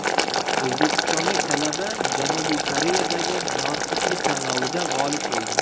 O‘zbekistonlik talaba Janubiy Koreyadagi notiqlik tanlovida g‘olib bo‘ldi.